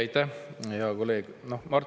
Aitäh, hea kolleeg!